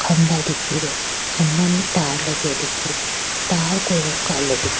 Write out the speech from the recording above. खम्भा दिखे रिया खम्भा में तार लगया दिखे रिया तार को रंग कालो दिखे।